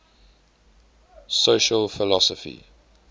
social philosophy